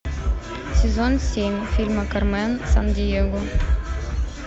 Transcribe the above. сезон семь фильма кармен сан диего